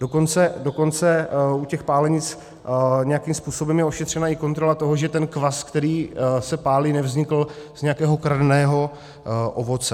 Dokonce u těch pálenic nějakým způsobem je ošetřena i kontrola toho, že ten kvas, který se pálí, nevznikl z nějakého kradeného ovoce.